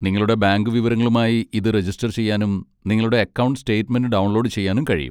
നിങ്ങളുടെ ബാങ്ക് വിവരങ്ങളുമായി ഇത് രജിസ്റ്റർ ചെയ്യാനും നിങ്ങളുടെ അക്കൗണ്ട് സ്റ്റേറ്റ്മെന്റ് ഡൗൺലോഡ് ചെയ്യാനും കഴിയും.